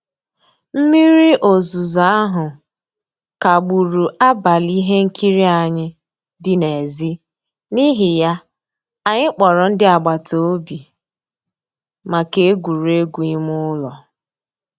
Mmírí òzùzó ahụ́ kagbùrù àbálị́ ihe nkírí ànyị́ dị́ n'èzí, n'ihí ya, ànyị́ kpọ̀rọ́ ndí àgbàtà òbì maka ègwùrègwù ímé ụ́lọ́.